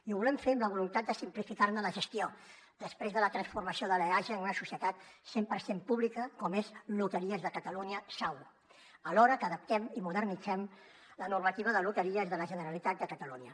i ho volem fer amb la voluntat de simplificarne la gestió després de la transformació de l’eaja en una societat cent per cent pública com és loteries de catalunya sau alhora que adaptem i modernitzem la normativa de loteries de la generalitat de catalunya